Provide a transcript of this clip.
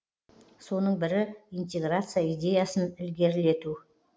соның бірі интеграция идеясын ілгерілету